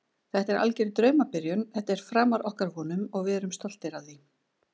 Þetta er alger draumabyrjun, þetta er framar okkar vonum og við erum stoltir af því.